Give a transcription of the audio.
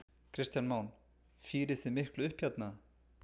Kristján Már: Fírið þið miklu upp hérna?